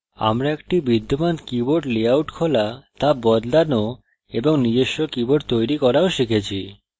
আমরা একটি বিদ্যমান keyboard লেআউট খোলা তা বদলানো এবং নিজস্ব keyboard তৈরি করাও শিখেছি